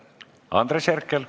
Andres Herkel.